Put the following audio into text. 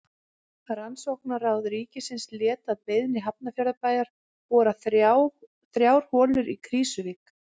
Rannsóknaráð ríkisins lét að beiðni Hafnarfjarðarbæjar bora þrjár holur í Krýsuvík.